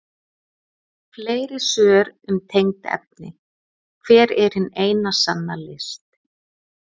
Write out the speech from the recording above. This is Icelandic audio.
Fleiri svör um tengd efni: Hver er hin eina sanna list?